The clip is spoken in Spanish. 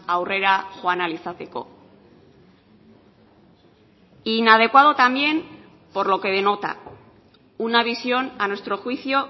aurrera joan ahal izateko inadecuado también por lo que denota una visión a nuestro juicio